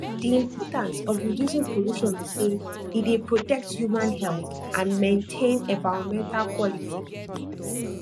di importance of reducing pollution be say e dey protect human health and maintain environmental quality